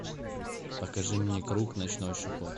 покажи мне крук ночной шепот